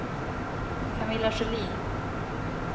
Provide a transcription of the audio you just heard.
Camilla Sjölin